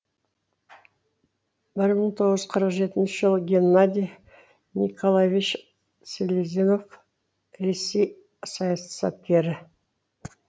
бір мың тоғыз жүз қырық жетінші жылы геннадий николаевич селезнек ресей саясаткері